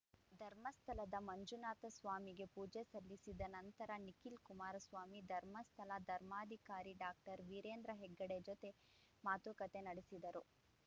ಧರ್ಮಸ್ಥಳದ ಮಂಜುನಾಥ ಸ್ವಾಮಿಗೆ ಪೂಜೆ ಸಲ್ಲಿಸಿದ ನಂತರ ನಿಖಿಲ್‌ ಕುಮಾರಸ್ವಾಮಿ ಧರ್ಮಸ್ಥಳ ಧರ್ಮಾಧಿಕಾರಿ ಡಾಕ್ಟರ್ ವೀರೇಂದ್ರ ಹೆಗ್ಗಡೆ ಜೊತೆ ಮಾತುಕತೆ ನಡೆಸಿದರು